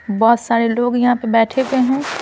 बहुत सारे लोग यहां पर बैठे हुए हैं।